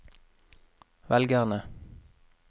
velgerne